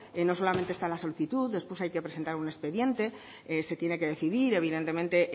no solamente está la solicitud después hay que presentar un expediente se tiene que decidir evidentemente